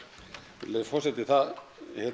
virðulegur forseti það